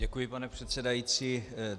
Děkuji, pane předsedající.